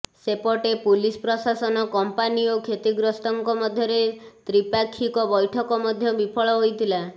ସେପଟେ ପୁଲିସ ପ୍ରସାଶନ କମ୍ପାନୀ ଓ କ୍ଷତିଗ୍ରସ୍ତଙ୍କ ମଧ୍ୟରେ ତ୍ରିପାକ୍ଷିକ ବୈଠକ ମଧ୍ୟ ବିଫଳ ହୋଇଥିଲା